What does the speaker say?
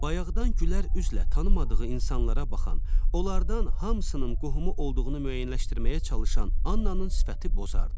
Bayaqdan gülər üzlə tanımadığı insanlara baxan, onlardan hamısının qohumu olduğunu müəyyənləşdirməyə çalışan Annanın sifəti bozardı.